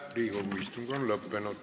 Riigikogu istung on lõppenud.